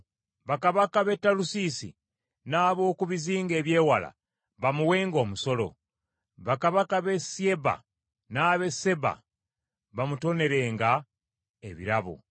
Bakabaka b’e Talusiisi n’ab’oku bizinga eby’ewala bamuwenga omusolo; bakabaka b’e Syeba n’ab’e Seeba bamutonerenga ebirabo.